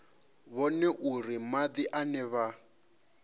vhone uri madi ane vha